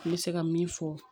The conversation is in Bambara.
N bɛ se ka min fɔ